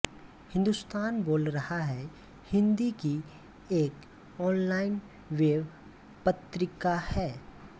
हिंदुस्तान बोल रहा है हिन्दी की एक ऑनलाइन वेब पत्रिका है